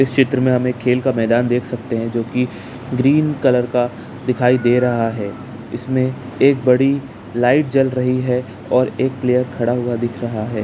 इस चित्र में हमें खेल मैदान देख सकते हैं जो की ग्रीन कलर का दिखाई दे रहा है इसमें एक बड़ी लाइट जल रही है और एक प्लेयर खड़ा हुआ दिख रहा है।